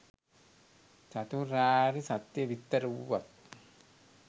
චතුරාර්ය සත්‍ය විස්තර වූවත්